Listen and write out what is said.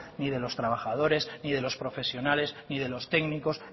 ni de los trabajadores ni de los profesionales ni de los técnicos